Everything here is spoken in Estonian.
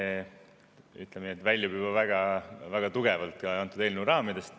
See, ütleme nii, väljub juba väga tugevalt antud eelnõu raamidest.